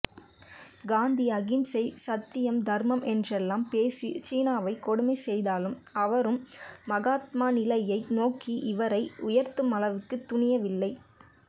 காந்தி அகிம்சை சத்தியம் தர்மம் என்றெல்லாம் பேசி ஜின்னாவை கொடுமைசெய்தாலும் அவரும் மகாத்மாநிலையை நோக்கி இவரை உயர்த்துமளவுக்கு துணியவில்லை